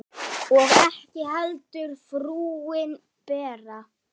Og ekki heldur frúin Bera.